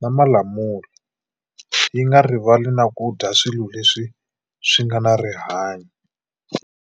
na malamula yi nga rivali na ku dya swilo leswi swi nga na rihanyo.